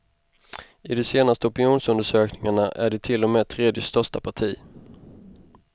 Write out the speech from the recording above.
I de senaste opinionsundersökningarna är de till och med tredje största parti.